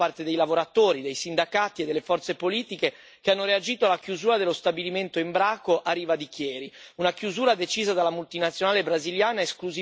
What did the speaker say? Siamo qui a discutere, anche grazie alla straordinaria mobilitazione da parte dei lavoratori, dei sindacati e delle forze politiche che hanno reagito alla chiusura dello stabilimento Embraco a Riva di Chieri.